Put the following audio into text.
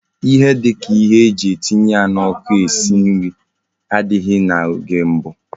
Ihe dika ihe eji etinye na oku esi nri adighi na oge gboo